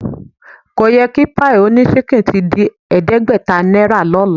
Ko yẹ kí páì oníṣínkìn ti di ẹ̀ẹ́dẹ́gbẹ̀ta náírà lọ́la